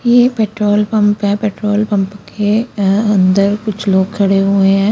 ये petrol pump है petrol pump के अंदर कुछ लोग खडे हुए है।